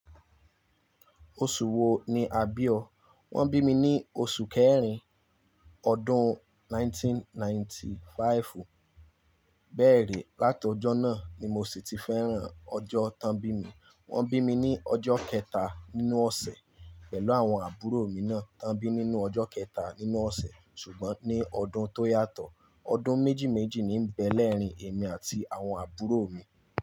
Oṣù wo ni àbí ọ? Wọ́n bí mi ní oṣù kẹrin ọdún 1995 bẹ́ẹ̀ rí, látọjọ́ náà ni mo sì ti fẹ́ràn ọjọ́ tán bí mi. Wọ́n bí mi ní ọjọ́ kẹta nínú ọ̀sẹ̀ pẹ̀lú àwọn àbúrò mi náà tán bí nínú ọjọ́ kẹta nínú ọ̀sẹ̀ ṣùgbọ́n ní ọdún tó yàtọ̀. Ọdún méjì méjì ní ń bẹ lẹ́rìn ín èmi àti àwọn àbúrò mi.